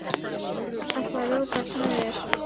Gáðirðu í vasana?